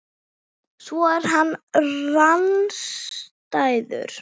Svo er hann rangstæður.